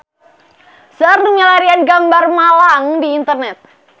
Seueur nu milarian gambar Malang di internet